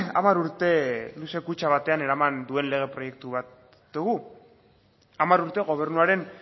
hamar urte luze kutxa batean eraman duen lege proiektu bat dugu hamar urte gobernuaren